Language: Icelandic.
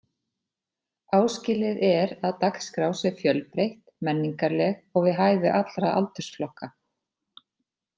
Áskilið er að dagskrá sé fjölbreytt, menningarleg og við hæfi allra aldursflokka.